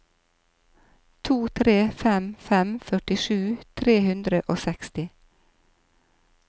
to tre fem fem førtisju tre hundre og seksti